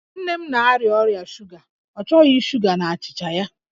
Nne m na-arịa ọrịa shuga, ọ chọghị shuga n'achịcha ya